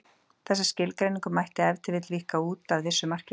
Þessa skilgreiningu mætti ef til vill víkka út að vissu marki.